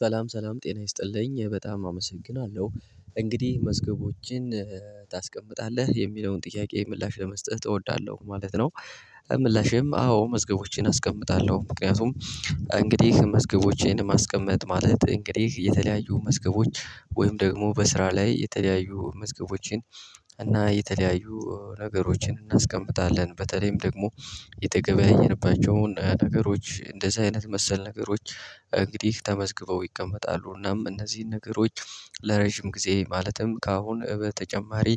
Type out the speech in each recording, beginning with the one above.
ሰላም ሰላም ጤና ይስጥልኝ በጣም አመሰግናለሁ እንግዲህ መዝገቦችን ታስቀምጣለህ የሚለውን ጥያቄ ምላሽ ለመስጠት እወዳለሁ ማለት ነው። ምላሼም አዎ መዝገቦቼን አስቀምጣለሁ ምክንያቱም እንግዲህ መዝገቦቼን ማስቀመጥ ማለት እንግዲህ የተለያዩ መዝገቦች ወይም ደግሞ በስራ ላይ የተለያዩ መዝገቦችን እና የተለያዩ ነገሮችን እናስቀምጣለን በተለይም ደግሞ የተገበያየንባቸውን ነገሮች እንደዚህ አይነት መሰል ነገሮች እንግዲህ ተመዝግበው ይቀመጣሉ። እናም እነዚህን ነገሮች ለረጅም ጊዜ ማለትም ከአሁን በተጨማሪ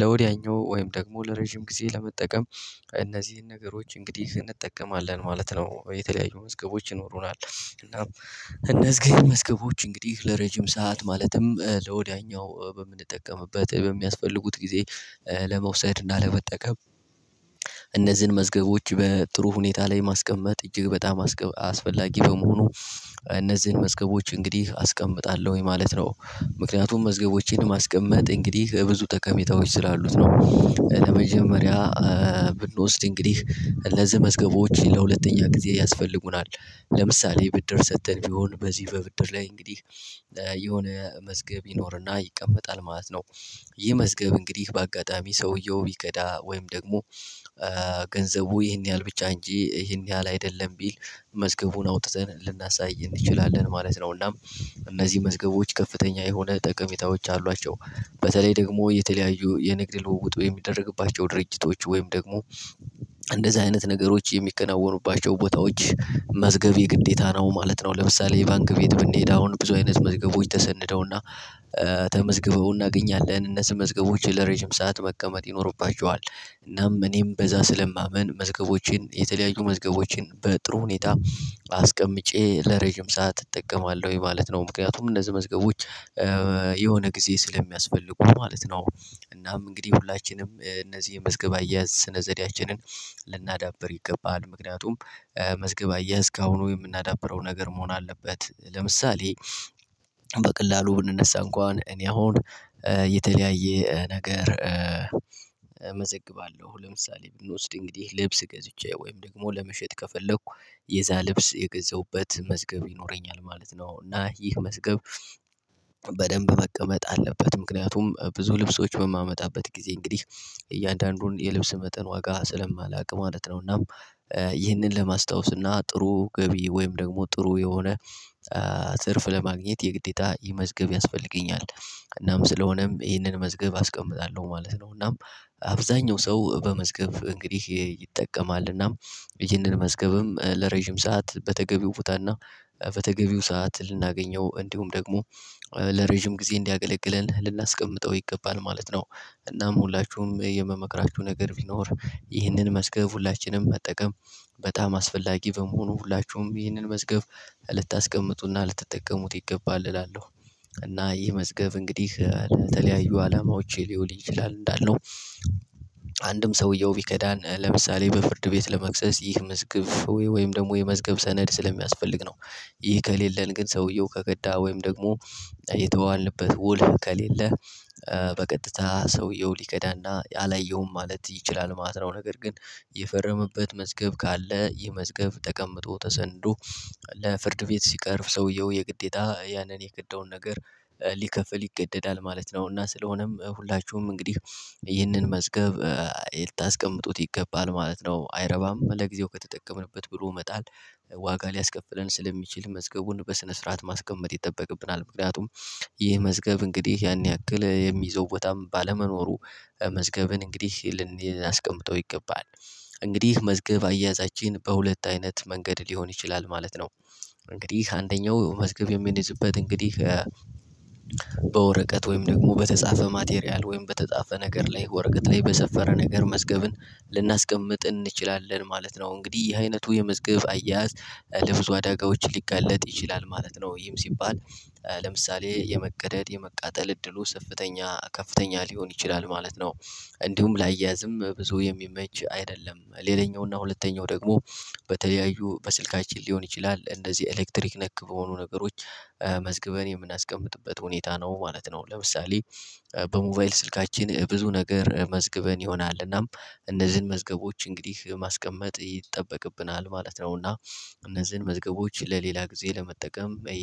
ለወዲያኛው ወይም ደግሞ ለረጅም ጊዜ ለመጠቀም እነዚህን ነገሮች እንግዲህ እንጠቀማለን ማለት ነው። የተለያዩ መዝገቦች ይኖሩናል እናም እነዚህ መዝገቦች እንግዲህ ለረጅም ሰዓት ማለትም ለወዲያኛው በምንጠቀምበት በሚያስፈልጉት ጊዜ ለመውሰድ እና ለመጠቀም። እነዚህን መዝገቦች በጥሩ ሁኔታ ላይ ማስቀመጥ እጅግ በጣም አስፈላጊ በመሆኑ እነዚህን መዝገቦች እንግዲህ አስቀምጣለሁኝ ማለት ነው ምክንያቱም መዝገቦችን ማስቀመጥ እንግዲህ ብዙ ጠቀሜታዎች ስላሉት ነው። ለመጀመሪያ ብንወስድ እንግዲህ እነዚህመዝገቦች ለሁለተኛ ጊዜ ያስፈልጉናል ለምሳሌ ብድር ሰጥተን ቢሆን በዚህ በብድር ላይ እንግዲህ የሆነ መዝገብ ይኖርና ይቀመጣል ማለት ነው። ይህ መዝገብ እንግዲህ በአጋጣሚ ሰውየው ቢከዳ ወይም ደግሞ ገንዘቡ ይሄን ያህል ብቻ እንጂ ይሄን ያህል አይደለም ቢል መዝገቡን አውጥተን ልናሳይ እንችላለን ማለት ነውናም እነዚህ መዝገቦች ከፍተኛ የሆነ ጠቀሜታዎች አሏቸው። በተለይ ደግሞ የተለያዩ የንግድ ልውውጡ የሚደረግባቸው ድርጅቶች ወይም ደግሞ እንደዚህ አይነት ነገሮች የሚከናወኑባቸው ቦታዎች መዝገብ የግዴታ ነው ማለት ነው። ለምሳሌ ባንክ ቤት ብንሄድ አሁን ብዙ አይነት መዝገቦች ተሰንደውና ተመዝግበው እናገኛለን እነሱ መዝገቦችን ለረጅም ሰዓት መቀመጥ ይኖርባቸዋል። እናም እኔም በዛ ስለማምን መዝገቦችን የተለያዩ መዝገቦችን በጥሩ ሁኔታ አስቀምጬ ለረጅም ሰዓት እጠቀማለሁ የማለት ነው። ምክንያቱም እነዚህ መዝገቦች የሆነ ጊዜ ስለሚያስፈልጉ ማለት ነው። እናም እንግዲህ ሁላችንም እነዚህ የመዝገብ አያያዝ ስነዘዴያችንን ልናዳብር ይገባል ምክንያቱም መዝገብ አያያዝ ከአሁኑ የምናዳብረው ነገር መሆን አለበት። ለምሳሌ በቀላሉ ብንነሳ እንኳን እኔ አሁን የተለያየ ነገር እመዘግባለሁ ለምሳሌ ብንወስድ እንግዲህ ልብስ ገዝቼ ወይም ደግሞ ለመሸጥ ከፈለኩ የዛ ልብስ የገዛሁበት መዝገብ ይኖረኛል ማለት ነው። እና ይህ መዝገብ በደንብ መቀመጥ አለበት ምክንያቱም ብዙ ልብሶች በማመጣበት ጊዜ እንግዲህ እያንዳንዱን የልብስ መጠን ዋጋ ስለማላውቅ ማለት ነው። እና ይህንን ለማስታወስ እና ጥሩ ገቢ ወይም ደግሞ ጥሩ የሆነ ትርፍ ለማግኘት የግዴታ ይህን መዝገብ ያስፈልገኛል። እናም ስለሆነም ይህንን መዝገብ አስቀምጣለሁ ማለት ነው። እናም አብዛኛው ሰው በመዝገብ እንግዲህ ይጠቀማል እናም ይህንን መዝገብም ለረጅም ሰዓት በተገቢው ቦታ እና በተገቢው ሰዓት ልናገኘው እንዲሁም ደግሞ ለረጅም ጊዜ እንዲያገለግለን ልናስቀምጠው ይገባል ማለት ነው። እናም ሁላችሁም የምመክራችሁ ነገር ቢኖር ይህንን መዝገብ ሁላችንም መጠቀም በጣም አስፈላጊ በመሆኑ ሁላችሁም ይህንን መዝገብ ልታስቀምጡና ልትጠቀሙት ይገባል እላለሁ። እና ይህ መዝገብ እንግዲህ ለተለያዩ አላማዎች ሊውል ይችላል እንዳልነው አንድም ሰውየው ቢከዳን ለምሳሌ በፍርድ ቤት ለመክሰስ ይህ መዝገብ ወይም ደግሞ የመዝገብ ሰነድ ስለሚያስፈልግ ነው። ይህ ከሌለን ግን ሰውየው ከገካ ወይም ደግሞ የተዋዋልንበት ውል ከሌለ በቀጥታ ሰውየው ሊከዳና አላየውም ማለት ይችላል። ማስረው ነገር ግን የፈረመበት መዝገብ ካለ ይህ መዝገብ ተቀምጦ ተሰንዶ ለፍርድ ቤት ሲቀርብ ሰውየው የግዴታ ያንን የከዳውን ነገር ሊከፍል ይገደዳል ማለት ነው። እና ስለሆነም ሁላችሁም እንግዲህ ይህንን መዝገብ ልታስቀምጡት ይገባል ማለት ነው። አይረባም ለጊዜው ከተጠቀምንበት ብሎ መጣል ዋጋ ሊያስከፍለን ስለሚችል መዝገቡን በስነ ስርዓት ማስቀመጥ ይጠበቅብናል። ምክንያቱም ይህ መዝገብ እንግዲህ ያን ያክል የሚይዘው ቦታም ባለመኖሩ መዝገብን እንግዲህ ይልን ያስቀምጠው ይገባል። እንግዲህ መዝገብ አያዛችን በሁለት አይነት መንገድ ሊሆን ይችላል ማለት ነው። እንግዲህ አንደኛው መዝገብ የሚያዝበት እንግዲህ በወረቀት ወይም ደግሞ በተጻፈ ማቴሪያል ወይም በተጻፈ ነገር ላይ ወረቀት ላይ በሰፈረ ነገር መዝገብን ልናስቀምጥ እንችላለን ማለት ነው። እንግዲህ የዚህ አይነቱ የመዝገብ አያያዝ ለብዙ አዳጋዎች ሊጋለጥ ይችላል ማለት ነው። ወይም ሲባል ለምሳሌ የመቀደድ የመቃጠል እድሉ ሰፍተኛ ከፍተኛ ሊሆን ይችላል ማለት ነው። እንዲሁም ላያያዝም ብዙ የሚመች አይደለም። ሌላኛው እና ሁለተኛው ደግሞ በተለያዩ በስልካችን ሊሆን ይችላል እንደዚህ ኤሌክትሪክ ነክ በሆኑ ነገሮች መዝግበን የምናስቀምጥበት ሁኔታ ነው ማለት ነው። ለምሳሌ በሞባይል ስልካችን ብዙ ነገር መዝግበን ይሆናልና እነዚህን መዝገቦች እንግዲህ ማስቀመጥ ይጠበቅብናል ማለት ነው። እና እነዚህን መዝገቦች ለሌላ ጊዜ ለመጠቀም